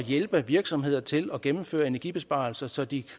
hjælpe virksomheder til at gennemføre energibesparelser så de